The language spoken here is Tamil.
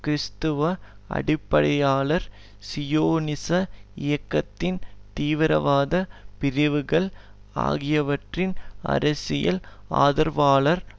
கிறிஸ்தவ அடிப்படையாளர் சியோனிச இயக்கத்தின் தீவிரவாத பிரிவுகள் ஆகியவறின் அரசியல் ஆதரவாளராவார்